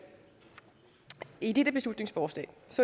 i dette beslutningsforslag